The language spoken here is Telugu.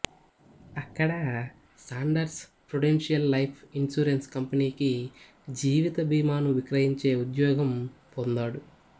అక్కడ సాండర్స్ ప్రుడెన్షియల్ లైఫ్ ఇన్సూరెన్స్ కంపెనీకి జీవిత బీమాను విక్రయించే ఉద్యోగం పొందాడు